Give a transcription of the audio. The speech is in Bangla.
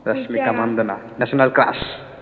Rashmika Mandanna national crush